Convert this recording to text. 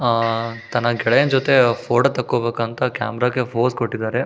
ಆಹ್ಹ್ ತನ್ನ ಗೆಳೆಯನ ಜೊತೆ ಫೋಟೋ ತೆಕ್ಕೋಬೇಕಂತ ಕ್ಯಾಮೆರಾಗೆ ಫೋಸ್ ಕೊಟ್ಟಿದ್ದಾರೆ.